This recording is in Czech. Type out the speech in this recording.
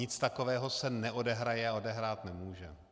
Nic takového se neodehraje a odehrát nemůže.